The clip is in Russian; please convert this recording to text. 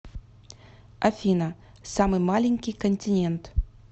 афина самый маленький континент